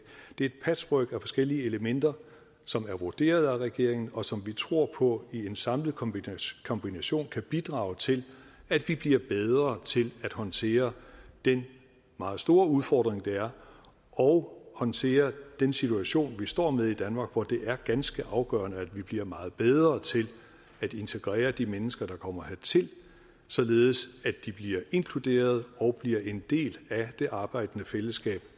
det er et patchwork af forskellige elementer som er vurderet af regeringen og som vi tror på i en samlet kombination kombination kan bidrage til at vi bliver bedre til at håndtere den meget store udfordring det er og håndtere den situation vi står med i danmark hvor det er ganske afgørende at vi bliver meget bedre til at integrere de mennesker der kommer hertil således at de bliver inkluderet og bliver en del af det arbejdende fællesskab